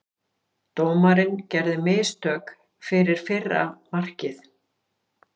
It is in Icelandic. Dómarinn gerði mistök fyrir fyrra markið.